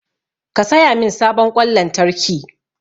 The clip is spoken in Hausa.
Ki saya min sabon ƙwan lantarki!